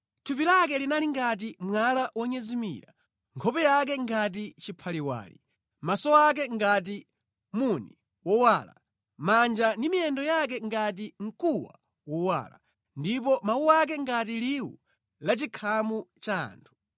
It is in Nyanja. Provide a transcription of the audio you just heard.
Thupi lake linali ngati mwala wonyezimira, nkhope yake ngati chiphaliwali, maso ake ngati muni wowala, manja ndi miyendo yake ngati mkuwa wowala, ndipo mawu ake ngati liwu la chikhamu cha anthu.